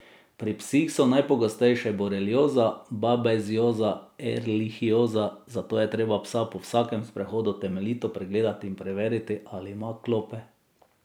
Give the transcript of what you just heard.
Pri psih so najpogostejše borelioza, babezioza in erlihioza, zato je treba psa po vsakem sprehodu temeljito pregledati in preveriti, ali ima klope.